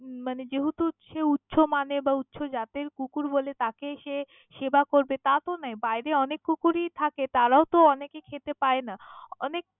মানে যেহেতু সে উঁচু মানের বা উঁচু জাতের কুকুর বলে তাকে সে সেবা করবে তা তো নয়, বাইরে অনেক কুকুরই থাকে তারাও তো অনেকেই খেতে পায়না অনেক।